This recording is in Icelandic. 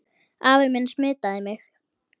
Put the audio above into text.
Afi minn smitaði mig.